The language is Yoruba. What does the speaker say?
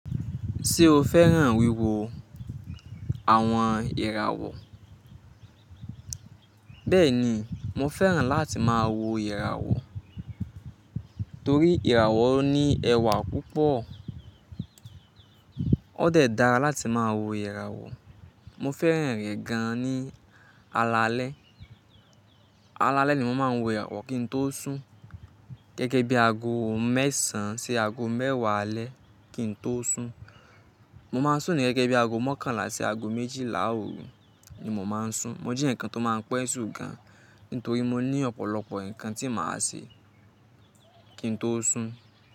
Ṣé o fẹ́ràn wíwo àwọn ìràwọ̀? Bẹ́ẹ̀ni, mo fẹ́ràn láti máa wo ìràwọ̀ torí ìràwọ̀ ní ẹwà púpọ̀. Ó dẹ̀ dára láti máa wo ìràwọ̀. Mo fẹ́ràn rẹ̀ gan-an ní alalẹ́. Alalẹ́ ni mo máa ń wo ìràwọ̀ kí n tó sún. Gẹ́gẹ́ bí aago mẹ́sàn-án sí aago mẹ́wàá alẹ́ kí n tó sún. Mo máa ń sùn ní gẹ́gẹ́ bí aago mọ́kànlá sí aago méjìlá ooru ni mo máa ń sùn. Mo jẹ ẹyọkan tó máa ń pẹ́ sùn gan-an nítorí mo ní ọ̀pọ̀lọpọ̀ nǹkan tí màá ṣe kí n tó sùn.